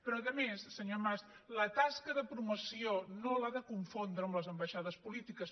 però a més senyor mas la tasca de promoció no l’ha de confondre amb les ambaixades polítiques